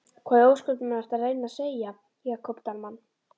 Hvað í ósköpunum ertu að reyna að segja, Jakob Dalmann?